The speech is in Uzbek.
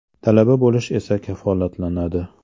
Talaba bo‘lish esa kafolatlanadi.